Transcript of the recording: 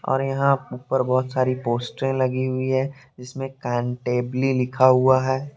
और यहां ऊपर बहुत सारी पोस्टर लगी हुई हैं जिसमें कांटेबली लिखा हुआ है ।